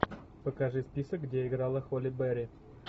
покажи список где играла холли берри